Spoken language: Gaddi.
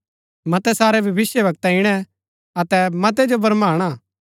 मतै सारै भविष्‍यवक्ता इणै अतै मतै जो भरमाणा